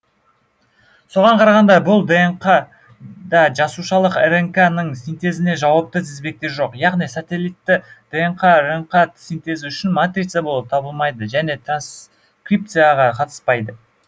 соған қарағанда бұл днқ да жасушалық рнк ның синтезіне жауапты тізбектер жоқ яғни сателитті днқ рнқ синтезі үшін матрица болып табылмайды және транскрипцияға қатыспайды